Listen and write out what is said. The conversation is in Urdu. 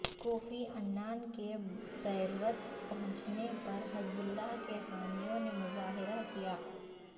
کوفی عنان کے بیروت پہنچنے پر حزب اللہ کے حامیوں نے مظاہرہ کیا